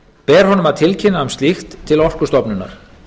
ber honum að tilkynna um slíkt til orkustofnunar